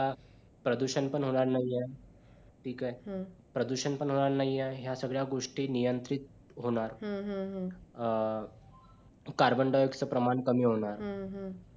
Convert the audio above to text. प्रदुषण पण होणार नाही आहे ठीक आहे हम्म प्रदुषण पण होणार आहे या सगळ्या गोष्टी नियंत्रित होणार अह हम्म हम्म carbon dioxide प्रमाण पण कमी होणार हम्म